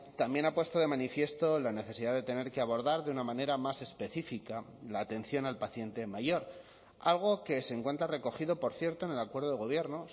también ha puesto de manifiesto la necesidad de tener que abordar de una manera más específica la atención al paciente mayor algo que se encuentra recogido por cierto en el acuerdo de gobierno